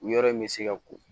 U yɔrɔ in bɛ se ka ko